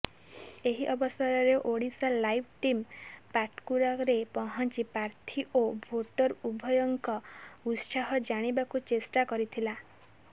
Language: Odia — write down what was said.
ଏହି ଅବସରରେ ଓଡ଼ିଶାଲାଇଭ ଟିମ୍ ପାଟକୁରାରେ ପହଞ୍ଚି ପ୍ରାର୍ଥୀ ଓ ଭୋଟର ଉଭୟଙ୍କ ଉତ୍ସାହ ଜାଣିବାକୁ ଚେଷ୍ଟା କରିଥିଲା